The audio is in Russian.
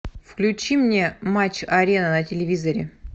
включи мне матч арена на телевизоре